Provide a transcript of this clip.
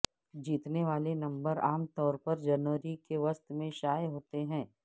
جیتنے والے نمبر عام طور پر جنوری کے وسط میں شائع ہوتے ہیں